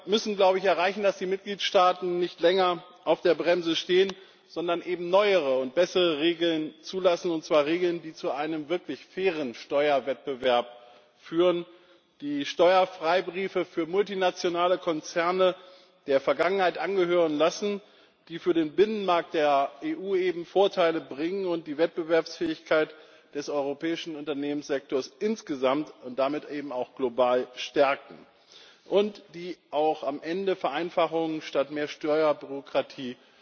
Wir müssen erreichen, dass die Mitgliedstaaten nicht länger auf der Bremse stehen, sondern neuere und bessere Regeln zulassen, und zwar Regeln, die zu einem wirklich fairen Steuerwettbewerb führen, die Steuerfreibriefe für multinationale Konzerne der Vergangenheit angehören lassen, die für den Binnenmarkt der EU Vorteile bringen und die Wettbewerbsfähigkeit des europäischen Unternehmenssektors insgesamt und damit auch global stärken und die am Ende auch Vereinfachung statt mehr Steuerbürokratie